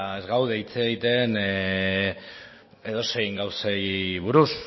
ez gaude hitz egiten edozein gauzei buruz